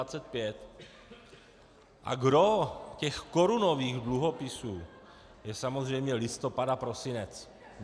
A gros těch korunových dluhopisů je samozřejmě listopad a prosinec.